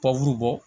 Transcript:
Baburu bɔ